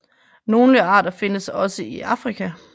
Nogle arter findes også i Afrika